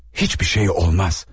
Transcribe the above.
Heç bir şey olmaz.